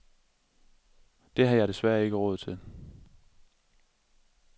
Det har jeg desværre ikke råd til.